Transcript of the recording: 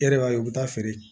E yɛrɛ b'a ye u bɛ taa feere